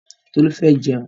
Tolú fẹ́ jẹun.